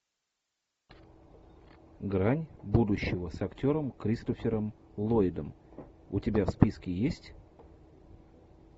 грань будущего с актером кристофером ллойдом у тебя в списке есть